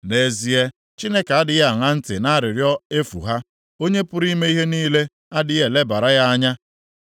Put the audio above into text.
Nʼezie, Chineke adịghị aṅa ntị nʼarịrịọ efu ha; Onye pụrụ ime ihe niile a dịghị elebara ya anya.